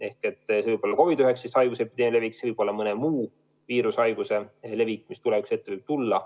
See võib olla COVID-19 haiguse epideemia, see võib olla mõne muu viirushaiguse levik, mis tulevikus võib tulla.